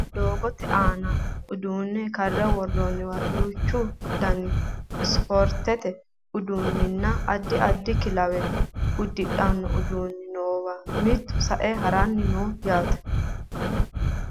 doogote aana uduunne karre worroonniwa duuchu danihu spoortete uduunninna addi addi kilawe uddidhanno uduunni nowa mittu sae haranni no yaate